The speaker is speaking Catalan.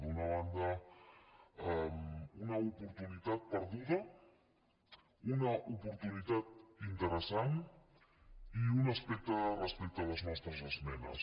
d’una banda una oportunitat perduda una oportunitat interessant i un aspecte respecte a les nostres esmenes